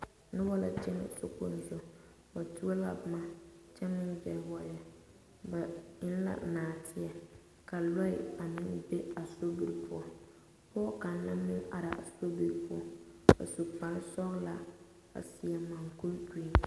Noba la kyɛnɛ sokpoŋ zu ba tuo la boma kyɛ meŋ fuels wagye ba eŋ la naateɛ ka loɛ a meŋ be a sobiri poɔ pɔge kaŋa a meŋ la are a sobiri poɔ a su kpare sɔglaa a seɛ mankuri pelaa.